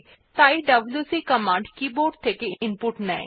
তাই WC keyboard থেকে input নেয়